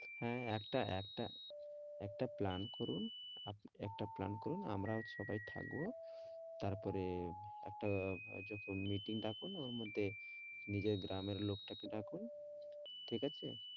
হ্যাঁ একটা, একটা একটা plan করুন একটা plan করুন আমরাও সবাই থাকবো তারপরে একটা আহ একটা meeting ডাকুন ওর মধ্যে নিজের গ্রামের লোকদেরকে ডাকুন ঠিক আছে?